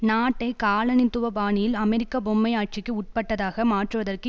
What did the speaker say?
நாட்டை காலனித்துவ பாணியில் அமெரிக்க பொம்மை ஆட்சிக்கு உட்பட்டதாக மாற்றுவதற்கு